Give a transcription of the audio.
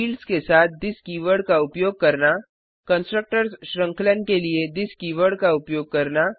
fields के साथ this keyword का उपयोग करना कंस्ट्रक्टर्स श्रृंखलन के लिए थिस कीवर्ड का उपयोग करना